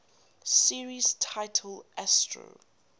series titled astro